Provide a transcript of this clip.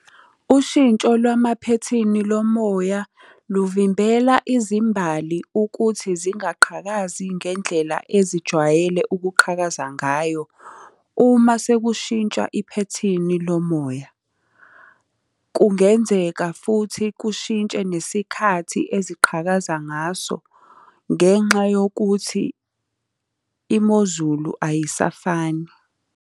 Ushintsho lwamaphethini lo moya luvimbela izimbali ukuthi zingaqhakazi ngendlela ezijwayele ukuqhakaza ngayo uma sekushintsha iphethini lo moya. Kungenzeka futhi kushintshe nesikhathi eziqhakaza ngaso ngenxa yokuthi imozulu ayisafani.